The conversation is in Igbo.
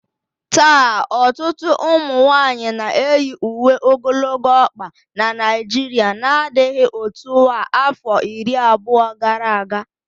Taa, ọtụtụ ụmụ nwanyị na-eyi uwe ogologo ọkpa na Naijiria n'adịghị otu a afọ iri abụọ gara aga